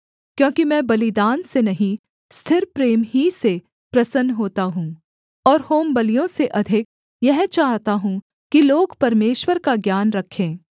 क्योंकि मैं बलिदान से नहीं स्थिर प्रेम ही से प्रसन्न होता हूँ और होमबलियों से अधिक यह चाहता हूँ कि लोग परमेश्वर का ज्ञान रखें